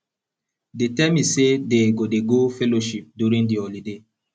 dey tell me say dey go dey go fellowship during the holiday